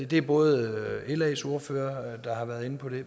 det er både las ordfører der har været inde på det